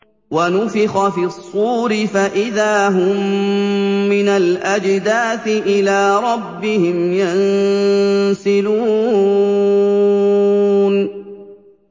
وَنُفِخَ فِي الصُّورِ فَإِذَا هُم مِّنَ الْأَجْدَاثِ إِلَىٰ رَبِّهِمْ يَنسِلُونَ